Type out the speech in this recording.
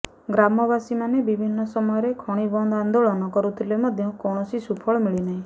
ଗ୍ରାମବାସୀମାନେ ବିଭିନ୍ନ ସମୟରେ ଖଣିବନ୍ଦ ଆନ୍ଦୋଳନ କରୁଥିଲେ ମଧ୍ୟ କୌଣସି ସୁଫଳ ମିଳିନାହିଁ